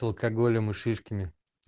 алкоголем и шишками